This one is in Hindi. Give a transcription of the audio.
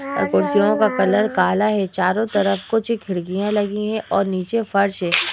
और कुर्सीयो का कलर काला है। चारों तरफ कुछ खिड़कियां लगी हैं और नीचे फर्श है।